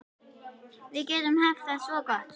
Við getum haft það svo gott.